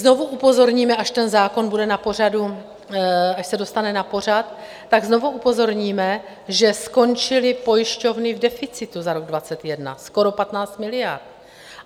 Znovu upozorníme, až ten zákon bude na pořadu, až se dostane na pořad, tak znovu upozorníme, že skončily pojišťovny v deficitu za rok 2021 skoro 15 miliard.